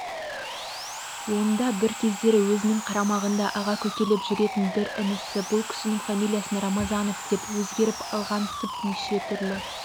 онда бір кездері өзінің қарамағында аға-көкелеп жүретін бірі інісі бұл кісінің фамилиясын рамазанов деп өзгеріп алғансып неше түрлі